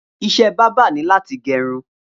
Iṣẹ̀ bàbà ni làtí gẹrún